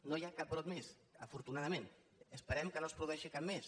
no hi ha cap brot més afortunadament i esperem que no se’n produeixi cap més